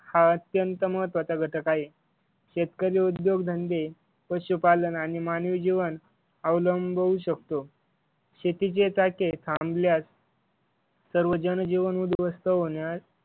हा अत्यंत महत्वाचा घटक आहे. शेतकरी उद्योगधंदे पशुपालन आणि मानवी जीवन अवलंबवू शकतो. शेतीची चाके थांबल्यास सर्व जनजीवन उध्वस्त होणार